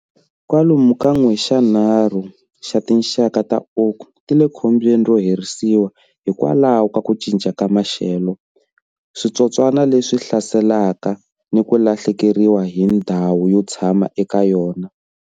Kwalomu ka n'wexanharhu xa tinxaka ta oak ti le khombyeni ro herisiwa hikwalaho ka ku cinca ka maxelo, switsotswana leswi hlaselaka, ni ku lahlekeriwa hi ndhawu yo tshama eka yona.